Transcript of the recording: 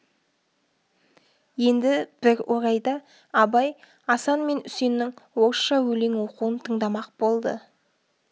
енді бір орайда абай асан мен үсеннің орысша өлең оқуын тыңдамақ болды